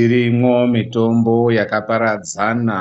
Irimwo mitombo yakaparadzana